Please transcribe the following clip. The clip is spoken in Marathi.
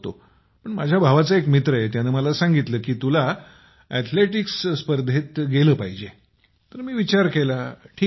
पण माझ्या भावाचा एक मित्र आहे त्याने मला सांगितले कि तुला अथलेटिक्सस्पर्धेत गेल पाहिजे तर मी विचार केला ठीक आहे